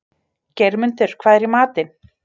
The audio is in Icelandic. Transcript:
Geirmundur, hvað er í matinn?